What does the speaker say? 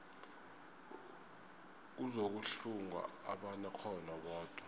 kuzokuhlungwa abanekghono bodwa